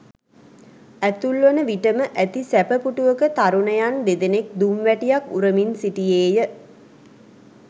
ඇතුල්වන විටම ඇති සැප පුටුවක තරුණයන් දෙදෙනෙක් දුම් වැටියක් උරමින් සිටියේ ය.